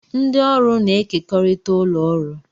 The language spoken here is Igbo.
Ndị ọrụ na-ekekọrịta ụlọ ọrụ